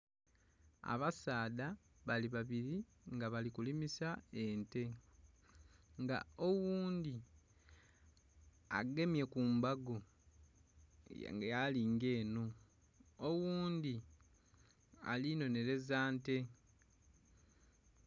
Abasaadha balibabiri nga balikulimisa ente nga oghundhi agemye kumbago yalinga enho oghundhi alinhonheraza nte